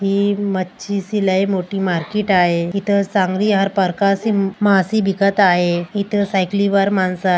ही मच्छी ची लय मोठी मार्केट आहे इथं चांगली हर प्रकारची माशी बिकत आहे इथे सायकली वर मानसा --